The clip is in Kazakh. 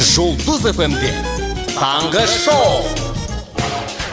жұлдыз эф эм де таңғы шоу